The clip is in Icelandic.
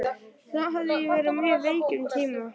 Þá hafði ég verið mjög veik um tíma.